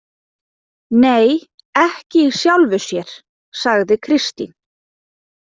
Nei, ekki í sjálfu sér, sagði Kristín.